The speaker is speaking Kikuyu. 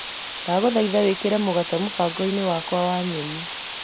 Ndagũthaitha wĩkĩre mũgate mũbango-inĩ wa nyeni.